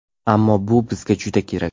Ammo bu bizga juda kerak.